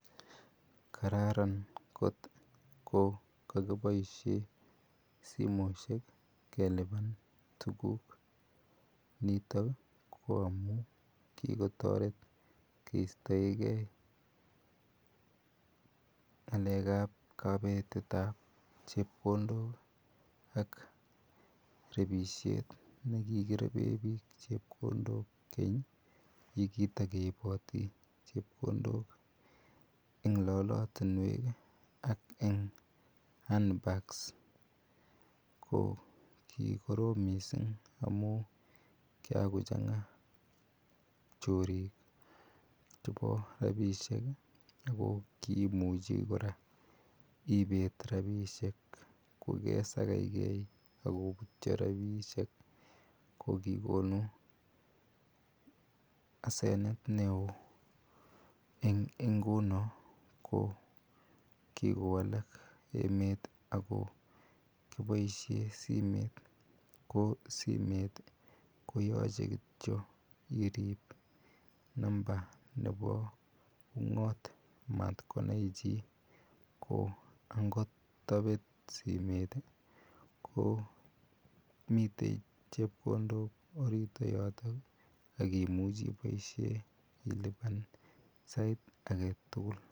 Kararan kotkokokiboishen simoit keliban tuguk niton ko amun kikotoret kistoengee ngalekab kobetetab chepkondok ak rebishet ne kikireben bik chepkondok keny nekikireben bik chepkondok en lolotinwek an en hand bags ko kikorom missing' amun kikan kiakochanga chorik chebo rabishek nekokiimuche koraa ibet rabishek kokeserechkee ak kobutyo rabishek kokikonu asenet neo en inguno kokikowalak emet ako kiboishen simet, kosimet koyoche kityok irib number nebo ungot maat konai chi ko angot kobet simet komiten chepkondok orit yotok ak imuche iboisien iliban sait aketugul.